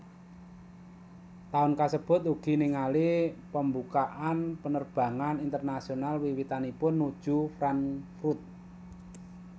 Taun kasebut ugi ningali pembukaan penerbangan internasional wiwitanipun nuju Frankfurt